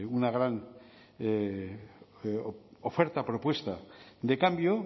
una gran oferta propuesta de cambio